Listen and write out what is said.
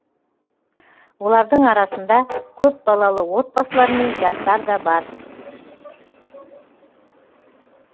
олардың арасында көпбалалы отбасылар мен жастар да бар